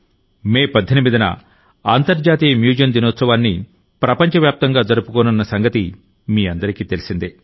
మే 18న అంతర్జాతీయ మ్యూజియం దినోత్సవాన్ని ప్రపంచ వ్యాప్తంగా జరుపుకోనున్న సంగతి మీ అందరికీ తెలిసిందే